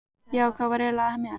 Já, hvað var eiginlega að mér?